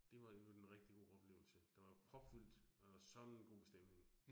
Det var i øvrigt en rigtig god oplevelse. Der var propfyldt og sådan en god stemning